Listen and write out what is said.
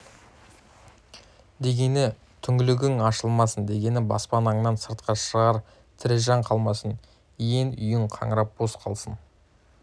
дегені түңлігің ашылмасын дегені баспанаңнан сыртқа шығар тірі жан қалмасын иен үйің қаңырап бос қалсын